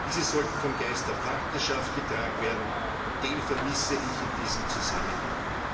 Diese sollten vom Geist der Partnerschaft getragen werden und den vermisse ich in diesem Zusammenhang.